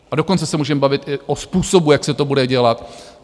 A dokonce se můžeme bavit i o způsobu, jak se to bude dělat.